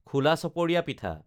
খোলা চপৰীয়া পিঠা